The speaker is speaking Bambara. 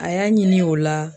A y'a ɲini o la